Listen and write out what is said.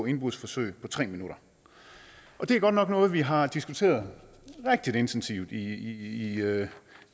indbrudsforsøg på tre minutter det er godt nok noget vi har diskuteret rigtig intensivt i